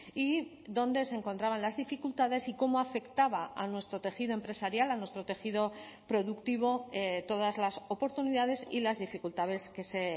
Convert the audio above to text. y donde se encontraban las dificultades y cómo afectaba a nuestro tejido empresarial a nuestro tejido productivo todas las oportunidades y las dificultades que se